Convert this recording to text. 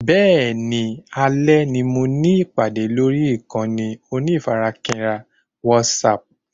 Bẹ́ẹ̀ni, alè ni mo ní ìpàdé lórí ìkànnì onífarakínra WhatsApp